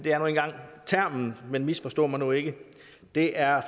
er nu engang termen men misforstå mig nu ikke det er